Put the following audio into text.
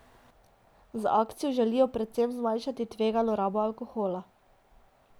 Z akcijo želijo predvsem zmanjšati tvegano rabo alkohola.